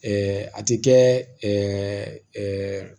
a ti kɛ